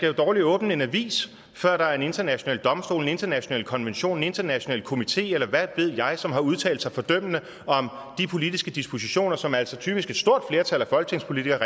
jo dårlig åbne en avis før der er en international domstol en international konvention en international komité eller hvad ved jeg som har udtalt sig fordømmende om de politiske dispositioner som altså typisk et stort flertal af folketingspolitikerne